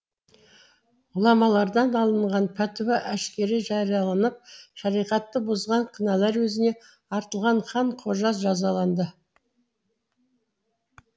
ғұламалардан алынған пәтуа әшкере жарияланып шариғатты бұзған күнәләрі өзіне артылған хан қожа жазаланды